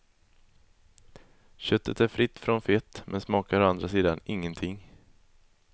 Köttet är fritt från fett, men smakar å andra sidan ingenting.